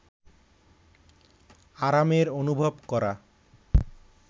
আরামের অনুভব করা